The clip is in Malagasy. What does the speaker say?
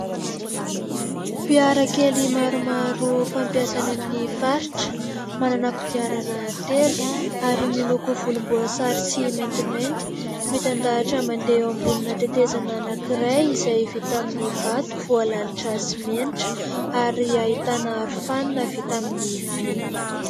Fiara kely maromaro fampiasa any amin'ny faritra, manana kodiarana telo ary miloko volomboasary sy maintimainty mitandahatra mandeha eo ambonina tetezana anankiray izay vita amin'ny vato voalalotra simenitra ary ahitana aro-fanina vita ami'ny vy.